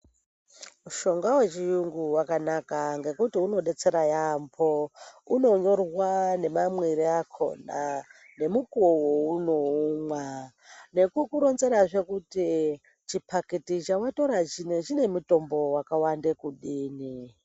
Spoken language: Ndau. Mushonga wechiyungu wakanaka ngekuti unodetsera yambo. Unonyorwa nemamwire akona nemukuwo waunoumwa. Nekukuronzerazve kuti chipakiti chawatora chino chinemutombo wakawanda kudini.